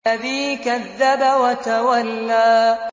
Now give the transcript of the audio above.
الَّذِي كَذَّبَ وَتَوَلَّىٰ